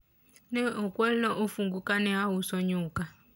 ne okwalna ofungu kane auso nyuka